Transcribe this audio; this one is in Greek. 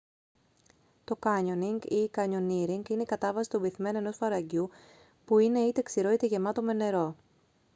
το κάνιονιγκ ή: κανιονίρινγκ είναι η κατάβαση στον πυθμένα ενός φαραγγιού που είναι είτε ξηρό είτε γεμάτο με νερό